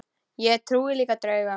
Ég trúi líka á drauga.